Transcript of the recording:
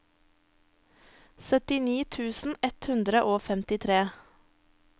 syttini tusen ett hundre og femtitre